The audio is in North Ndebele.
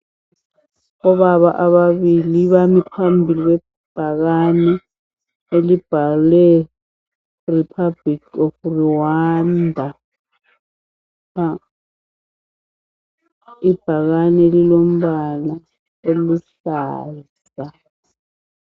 Obaba ababili bami phambili kwebhakane elibhalwe republic of Rwanda ibhakane Lilo mbala oluhlaza